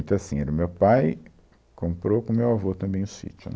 Então, assim, era o meu pai comprou com o meu avô também o sítio, né